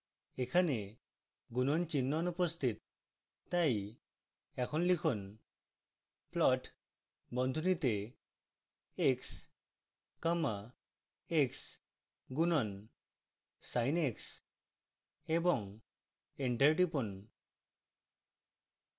এখানে গুণণ চিহ্ন অনুপস্থিত তাই এখন লিখুন: